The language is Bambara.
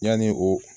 Yanni o